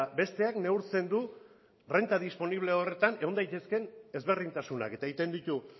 besteak neurtzen du renta disponible horretan egon daitezkeen ezberdintasunak eta egiten ditu